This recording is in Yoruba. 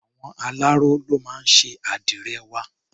Àwọn aláró ló máa ń ṣe àdìrẹ wa.